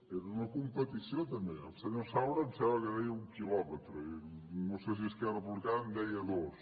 era una competició també el senyor saura em sembla que deia un quilòmetre i no sé si esquerra republicana en deia dos